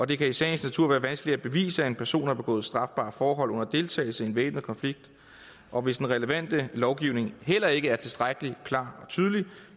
det kan i sagens natur være vanskeligt at bevise at en person har begået et strafbart forhold under deltagelse i en væbnet konflikt og hvis den relevante lovgivning heller ikke er tilstrækkelig klar og tydelig